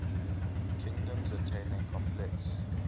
kingdoms attaining complex